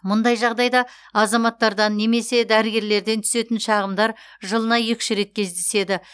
мұндай жағдайда азаматтардан немесе дәрігерлерден түсетін шағымдар жылына екі үш рет кездеседі